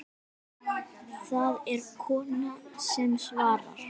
Það er kona sem svarar.